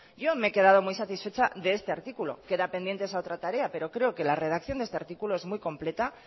yo me he quedado muy satisfecha de este artículo queda pendiente esa otra tarea pero creo que la redacción de este artículo es muy completa